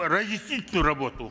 разъяснительную работу